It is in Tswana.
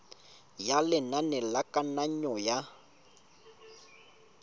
ya lenane la kananyo ya